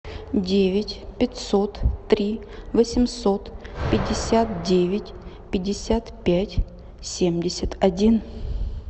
девять пятьсот три восемьсот пятьдесят девять пятьдесят пять семьдесят один